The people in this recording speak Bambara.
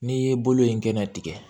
N'i ye bolo in kɛnɛ tigɛ